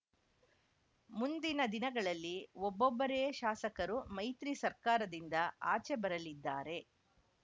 ಮುಂದಿನ ದಿನಗಳಲ್ಲಿ ಒಬ್ಬೊಬ್ಬರೇ ಶಾಸಕರು ಮೈತ್ರಿ ಸರ್ಕಾರದಿಂದ ಆಚೆ ಬರಲಿದ್ದಾರೆ